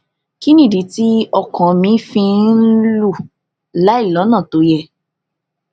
kí nìdí tí ọkàn mi fi ń lù láìlónà tó yẹ